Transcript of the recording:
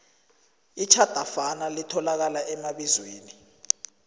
itjhadafana litholakala emabizweni